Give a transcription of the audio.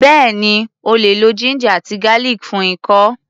Bẹ́ẹ̀ni, o lè lo ginger àti garlic fún ikọ́.